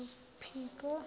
phiko